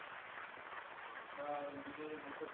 आता इंजीनीरिंग होतच